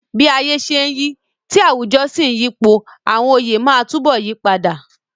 Bí ayé ṣe ń yí, tí àwùjọ sì ń yípo, àwọn oyè máa túbọ̀ yí padà.